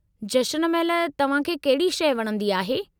जशन महिल तव्हां खे कहिड़ी शइ वणंदी आहे?